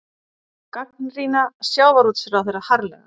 Gagnrýna sjávarútvegsráðherra harðlega